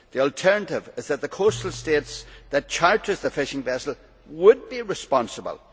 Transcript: The alternative is that the coastal state that charters the fishing vessel would be responsible.